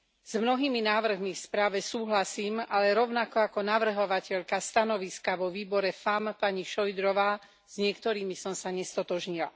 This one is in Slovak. S mnohými návrhmi v správe súhlasím, ale rovnako ako navrhovateľka stanoviska vo výbore FEMM, pani Šojdrová, s niektorými som sa nestotožnila.